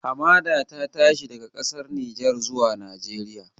Hamada ta tashi daga ƙasar Nijar zuwa Najeriya